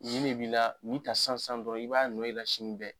Nin de b'i la nin ta sisan sisan dɔrɔn i b'a nɔ y'i la sini bɛ